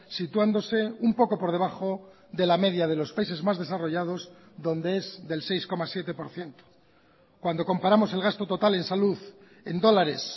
situándose un poco por debajo de la media de los países más desarrollados dónde es del seis coma siete por ciento cuando comparamos el gasto total en salud en dólares